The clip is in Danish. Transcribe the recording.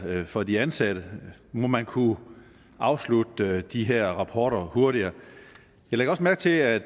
for de ansatte må man kunne afslutte de her rapporter hurtigere jeg lægger også mærke til at